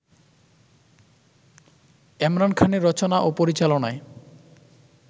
এমরান খানের রচনা ও পরিচালনায়